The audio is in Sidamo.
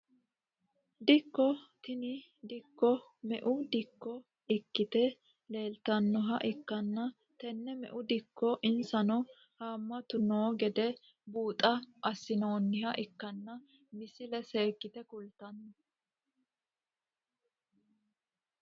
Dikko tini dikko me`u dikko ikite leeltanoha ikkana tene me`u dikora insano haamatu noo gedde buuxo asinooniha ikanna misile seekite kultano.